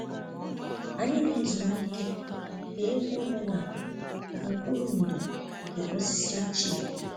Anyị na-ezumike ma gee egwu omenala n'okpuru ndò nke osisi ochie